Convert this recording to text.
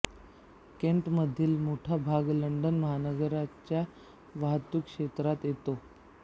केंटमधील मोठा भाग लंडन महानगराच्या वाहतूक क्षेत्रात येतो